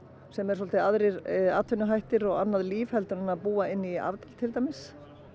sem eru aðrir atvinnuhættir og annað líf heldur en að búa inn í afdal til dæmis